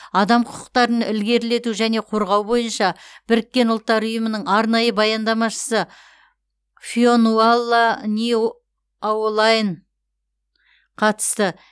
адам құқықтарын ілгерілету және қорғау бойынша біріккен ұлттар ұйымының арнайы баяндамашысы фионуалла ни аолайн қатысты